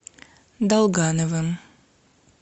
долгановым